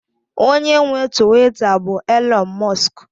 onye nwe Tuweeta bụ Elon musk